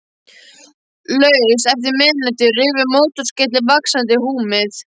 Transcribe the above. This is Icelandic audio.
Laust eftir miðnætti rufu mótorskellir vaxandi húmið.